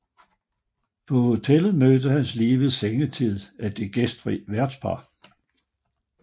På hotellet mødes han lige ved sengetid af det gæstfri værtspar